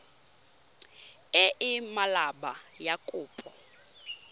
e e maleba ya kopo